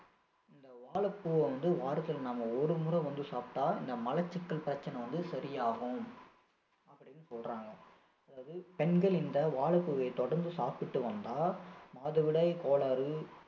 இந்த வாழைப்பூவை வந்து வாரத்தில நாம ஒரு முறை வந்து சாப்பிட்டா இந்த மலச்சிக்கல் பிரச்சனை வந்து சரியாகும் அப்படின்னு சொல்றாங்க அதாவது பெண்கள் இந்த வாழைப்பூவை தொடர்ந்து சாப்பிட்டு வந்தால் மாதவிடாய் கோளாறு